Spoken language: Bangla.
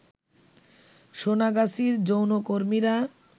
সোনাগাছির যৌনকর্মীরা